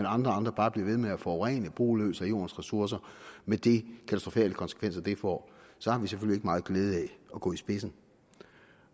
andre bare bliver ved med at forurene og bruge løs af jordens ressourcer med de katastrofale konsekvenser det får så har vi selvfølgelig meget glæde af at gå i spidsen